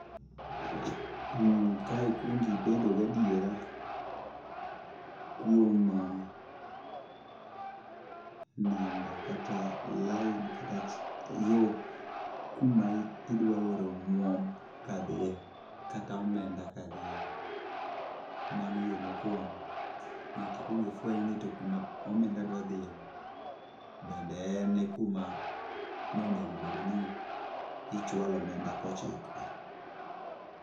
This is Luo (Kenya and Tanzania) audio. Kae ikwongibedo gi adiera kuom namba kata line kata yo kuma idwaoro omwom kadhiye kata omenda ka dhiye. Mano yo mokwongo. Nyaka ikwong ifweny ni to kuma omenda dwa dhiye ni bende en e kuma nonego bed ni inchwalo omenda kochikoe?